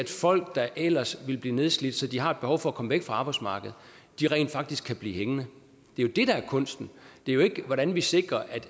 folk der ellers ville blive nedslidte så de har behov for at komme væk fra arbejdsmarkedet rent faktisk kan blive hængende det er jo det der er kunsten det er jo ikke hvordan vi sikrer